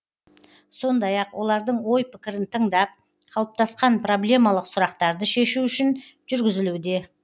сондай ақ олардың ой пікірін тыңдап қалыптасқан проблемалық сұрақтарды шешу үшін жүргізілуде